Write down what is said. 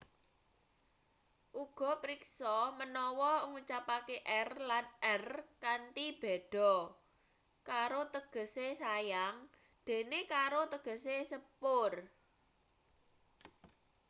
uga priksa manawa ngucapake r lan rr kanthi beda caro tegese sayang dene carro tegese sepur